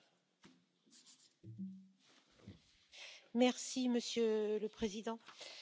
Monsieur le Président, les débats sur la Libye sont toujours un peu surréalistes.